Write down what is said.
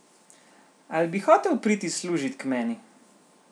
Ali bi hotel priti služit k meni?